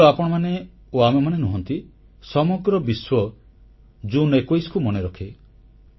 କେବଳ ଆପଣମାନେ ଓ ଆମେମାନେ ନୁହନ୍ତି ସମଗ୍ର ବିଶ୍ୱ ଜୁନ୍ 21କୁ ମନେରଖେ